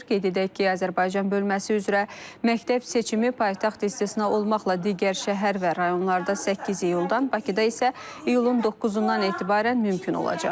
Qeyd edək ki, Azərbaycan bölməsi üzrə məktəb seçimi paytaxt istisna olmaqla digər şəhər və rayonlarda 8 iyuldan, Bakıda isə iyulun 9-dan etibarən mümkün olacaq.